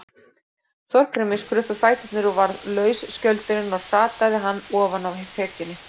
Þorgrími skruppu fæturnir og varð laus skjöldurinn og hrataði hann ofan af þekjunni.